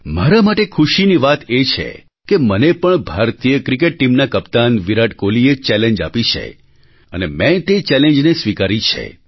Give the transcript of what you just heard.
મારા માટે ખુશીની વાત એ છે કે મને પણ ભારતીય ક્રિકેટ ટીમના કપ્તાન વિરાટ કોહલીએ ચેલેન્જ આપી છે અને મેં તે ચૅલેન્જને સ્વીકારી છે